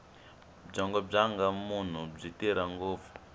byongo bya munhu byi tirha ngopfu